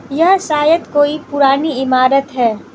यह शायद कोई पुरानी ईमारत है।